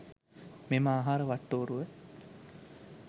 මෙම ආහාර වට්ටෝරුව